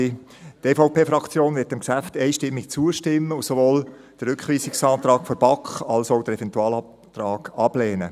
Die EVP wird diesem Geschäft einstimmig zustimmen und sowohl den Rückweisungsantrag der BaK als auch den Eventualantrag ablehnen.